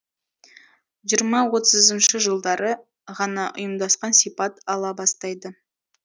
жиырма отызыншы жылдары ғана ұйымдасқан сипат ала бастайды